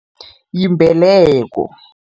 Yimbeleko.